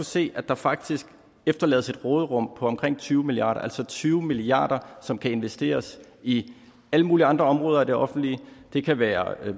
se at der faktisk efterlades et råderum på omkring tyve milliard kroner altså tyve milliard kr som kan investeres i alle mulige andre områder af det offentlige det kan være at